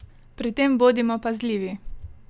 Pri tem bodimo pazljivi!